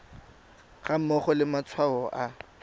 ga mmogo le matshwao a